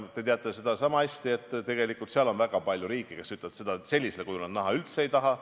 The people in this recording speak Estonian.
Te teate seda sama hästi, et tegelikult on väga palju riike, kes ütlevad seda, et sellisel kujul nad seda üldse näha ei taha.